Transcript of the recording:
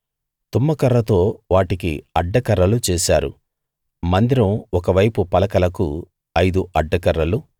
తుమ్మకర్రతో వాటికి అడ్డకర్రలు చేశారు మందిరం ఒకవైపు పలకలకు ఐదు అడ్డకర్రలు